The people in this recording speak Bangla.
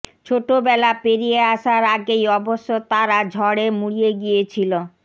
ছোটবেলা পেরিয়ে আসার আগেই অবশ্য তারা ঝড়ে মুড়িয়ে গিয়েছিল